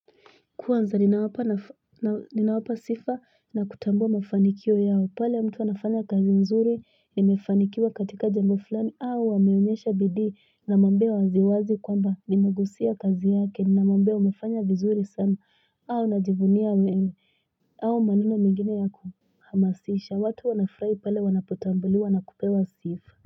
Kwanza ninawapa sifa na kutambua mafanikio yao, pale mtu anafanya kazi nzuri, nime anafanikiwa katika jambo fulani au ameonyesha bidii namwambia waziwazi kwamba, nimegusia kazi yake, ninamwambia umefanya vizuri sana au najivunia mimi maneno mengine ya kuhamasisha, watu wanafurahi pale wana potambuliwa na kupewa sifa.